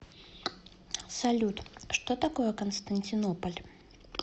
салют что такое константинополь